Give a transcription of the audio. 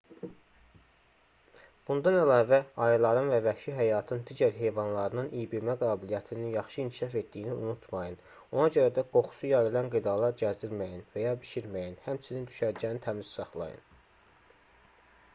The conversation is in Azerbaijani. bundan əlavə ayıların və vəhşi həyatın digər heyvanlarının iybilmə qabiliyyətinin yaxşı inkişaf etdiyini unutmayın ona görə də qoxusu yayılan qidalar gəzdirməyin və ya bişirməyin həmçinin düşərgəni təmiz saxlayın